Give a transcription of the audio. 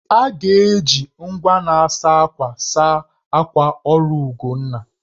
A ga-eji igwe na-asa akwa saa akwa ọrụ Ugonna